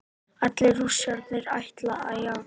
Allir Rússarnir ætla að játa